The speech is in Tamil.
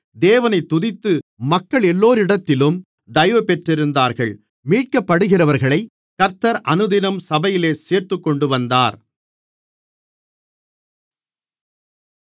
தேவனைத் துதித்து மக்களெல்லோரிடத்திலும் தயவுபெற்றிருந்தார்கள் மீட்கப்படுகிறவர்களைக் கர்த்தர் அனுதினமும் சபையிலே சேர்த்துக்கொண்டுவந்தார்